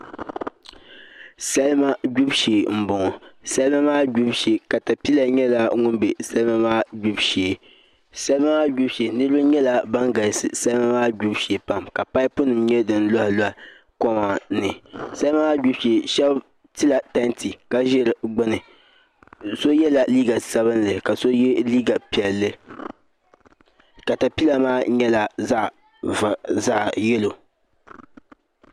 Salima gbibu shee n boŋo salima maa gbibu shee katapila nyɛla ŋun bɛ salima maa gbibu shee salima maa gbibu shee niraba nyɛla bin galisi salima maa gbibu shee pam ka paipu nim nyɛ din loɣaloɣa koma ni salima maa gbibu shee shab tila tanti ka ʒi di gbuni do so yɛla liiga sabinli ka so yɛ liiga piɛlli katapila maa nyɛla zaɣ yɛlo